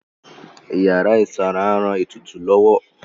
Ìyára ìsanra ń ran ètùtù lọ́wọ́